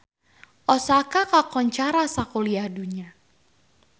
Osaka kakoncara sakuliah dunya